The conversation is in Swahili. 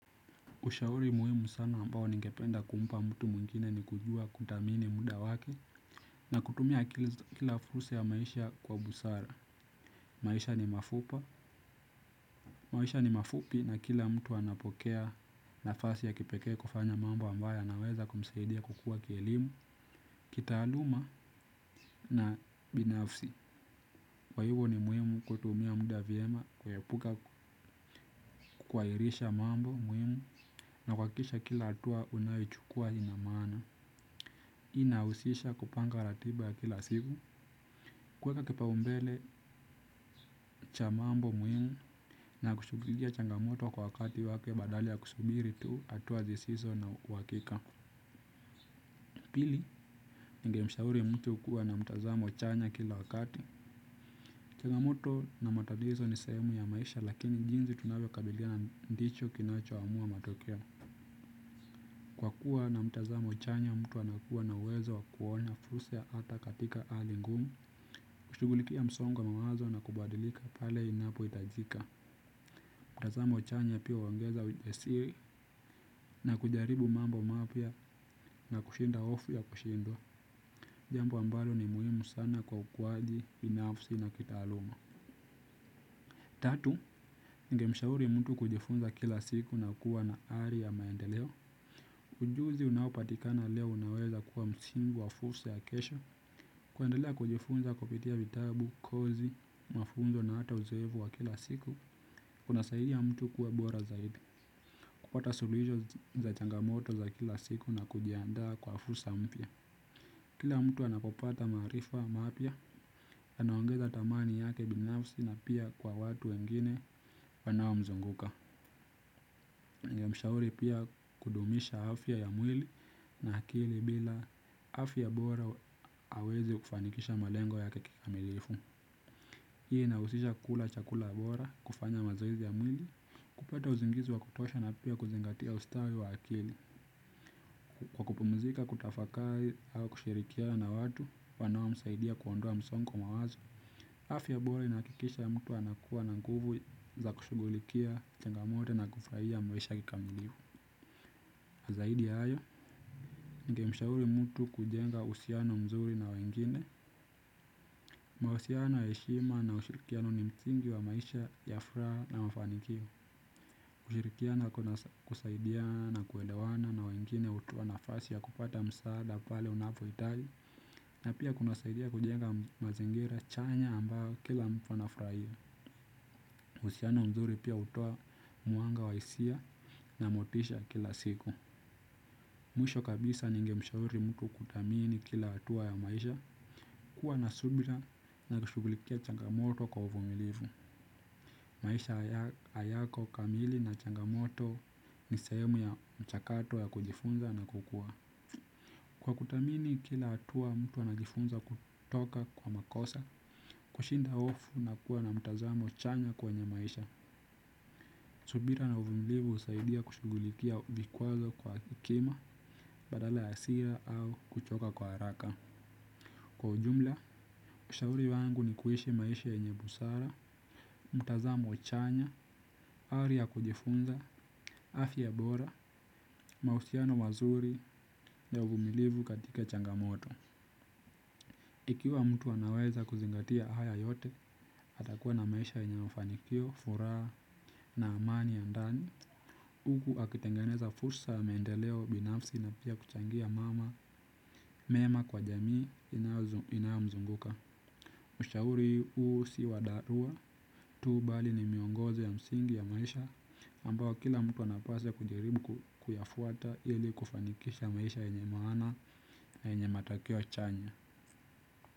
Ushauri muhimu sana ambao ningependa kumpa mtu mwingine ni kujua kuthamini muda wake na kutumia kila fursa ya maisha kwa busara. Maisha ni mafupa. Maisha ni mafupi na kila mtu anapokea nafasi ya kipeke kufanya mambo ambayo anaweza kumsaidia kukua kielimu, kitaluma na binafsi. Kwa hivyo ni muhimu kutumia muda vyema kuepuka kukwairisha mambo muhimu na kuhakikisha kila hatua unayoichukua ina maana. Inahusisha kupanga ratiba kila siku. Kuweka kipaumbele cha mambo muhimu na kushughulikia changamoto kwa wakati wake badala ya kusubiri tu hatua zisizo na uhakika. Pili, ningemshauri mtu kuwa na mtazamo chanya kila wakati. Changamoto na matatizo ni sehemu ya maisha lakini jinsi tunavyokabiliana ndicho kinacho amua matokeo. Kwa kuwa na mtazamo chanya mtu anakuwa na uwezo wa kuona fursa hata katika hali ngumu. Kushughulikia msongo wa mawazo na kubadilika pale inapohitajika mtazamo chanya pia huongeza ujasiri. Na kujaribu mambo mapya na kushinda hofu ya kushindwa. Jambo ambalo ni muhimu sana kwa ukuwaji, binafsi na kitaaluma. Tatu, ningemshauri mtu kujifunza kila siku na kuwa na ari ya maendeleo. Ujuzi unaopatikana leo unaweza kuwa msingi wa fursa ya kesho. Kuendelea kujifunza kupitia vitabu, kozi, mafunzo na hata uzoefu wa kila siku. Kunasaidia mtu kuwa bora zaidi. Kupata suluhisho za changamoto za kila siku na kujiandaa kwa fursa mpya. Kila mtu anapopata marifa mapya anaongeza thamani yake binafsi na pia kwa watu wengine wanao mzunguka. Ningemshauri pia kudumisha afya ya mwili. Na akili bila afya bora hawezi kufanikisha malengo ya kikamilifu. Hii inahusisha kula chakula bora kufanya mazoezi ya mwili. Kupata usingizi wa kutosha na pia kuzingatia ustawi wa akili. Kwa kupumzika kutafakari au kushirikiana watu wanao msaidia kuondoa msongo wa mawazo. Afya bora inahakikisha mtu anakuwa na nguvu za kushughulikia changamoto na kufurahia maisha kikamiliu zaidi ya hayo, ningemshauri mtu kujenga uhusiano mzuri na wengine. Mahusiano ya heshima na ushirikiano ni msingi wa maisha ya furaha na mafanikio kushirikiana na kuna kusaidiana kuelewana na wengine hutoa nafasi ya kupata msaada pale unapohitaji. Na pia kuna saidia kujenga mazingira chanya ambayo kila mtu anafurahia. Uhusiano mzuri pia hutoa mwanga wa hisia na motisha kila siku. Mwisho kabisa ningemshauri mtu kuthamini kila hatua ya maisha. Kuwa na subira na kushughulikia changamoto kwa uvumilivu. Maisha hayako kamili na changamoto ni sehemu ya mchakato ya kujifunza na kukua. Kwa kuthamini kila hatua mtu anajifunza kutoka kwa makosa kushinda hofu na kuwa na mtazamo chanya kwenye maisha. Subira na uvumlivu husaidia kushughulikia vikwazo kwa hekima badala ya hasira au kuchoka kwa haraka. Kwa ujumla, ushauri wangu ni kuishi maisha yenye busara, mtazamo chanya, ari ya kujifunza, afya bora, mahusiano mazuri, ya uvumilivu katika changamoto. Ikiwa mtu anaweza kuzingatia haya yote, hatakuwa na maisha yenye mafanikio, furaha, na amani ya ndani. Huku akitengeneza fursa ya maendeleo binafsi na pia kuchangia mama, mema kwa jamii, inayomzunguka. Ushauri huu si wa dharura tu bali ni miongozo ya msingi ya maisha ambayo kila mtu anapaswa kujiribu kuyafuata ili kufanikisha maisha yenye maana yenye matokeo chanya.